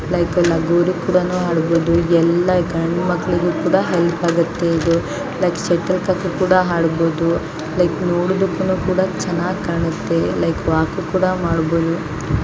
ಇದು ಲಗೋರಿ ಕೂಡನು ಆಡಬಹುದು ಎಲ್ಲ ಗಂಡು ಮಕ್ಕಳಿಗೂ ಹೆಲ್ಪ್ ಆಗುತ್ತೆ ಲೈಕ್ ನೋಡೋದಕ್ಕುನು ಚೆನ್ನಾಗಿ ಕೂಡ ಮಾಡಬಹುದು. ಲೈಕ್ ವಾಕ್ ಕೂಡ ಮಾಡಬಹುದು .